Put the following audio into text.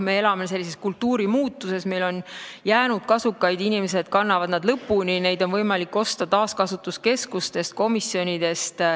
Me elame sellises kultuurimuutuses, et meil on varasemast ajast jäänud kasukaid alles, inimesed kannavad nad lõpuni, neid on võimalik osta taaskasutuskeskustest ja komisjonipoodidest.